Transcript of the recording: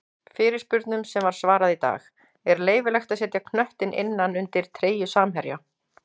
Fyrirspurnum sem var svarað í dag:-Er leyfilegt að setja knöttinn innan undir treyju samherja?